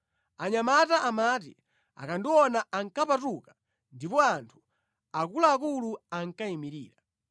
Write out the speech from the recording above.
anyamata amati akandiona ankapatuka ndipo anthu akuluakulu ankayimirira;